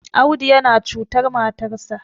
Audu yana cutar matarsa